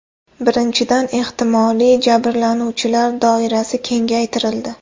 Birinchidan, ehtimoliy jabrlanuvchilar doirasi kengaytirildi.